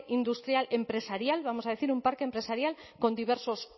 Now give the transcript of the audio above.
industrial empresarial vamos a decir un parque empresarial con diversos